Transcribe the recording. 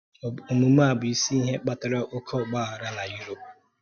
Òmume a bụ isi ihe kpatara oké ọ́gba aghara na Europe.